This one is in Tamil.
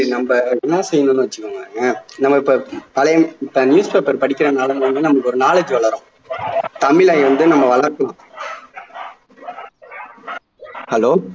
நம்ம என்ன செய்யணும்னு வெச்சுக்கோங்களேன் நம்ம இப்ப பழைய newspaper படிக்கிறதுனால வந்து நமக்கு ஒரு knowledge வளரும் தமிழை வந்து நம்ம வளர்க்கலாம் hello